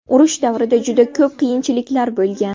Urush davrida juda ko‘p qiyinchiliklar bo‘lgan.